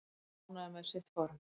Hann kvaðst ánægður með sitt form